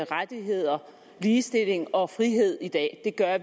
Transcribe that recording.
rettigheder ligestilling og frihed i dag det gør